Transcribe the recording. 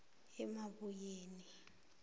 emabuyeni